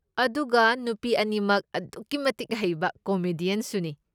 ꯑꯗꯨꯒ ꯅꯨꯄꯤ ꯑꯅꯤꯃꯛ ꯑꯗꯨꯛꯀꯤ ꯃꯇꯤꯛ ꯍꯩꯕ ꯀꯣꯃꯦꯗꯤꯌꯟꯁꯨꯅꯤ꯫